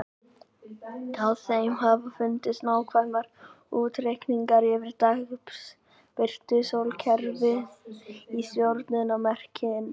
Á þeim hafa fundist nákvæmir útreikningar yfir dagsbirtu, sólkerfið og stjörnumerkin.